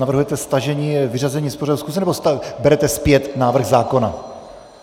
Navrhujete stažení, vyřazení z pořadu schůze, nebo berete zpět návrh zákona?